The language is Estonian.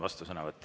Vastusõnavõtt.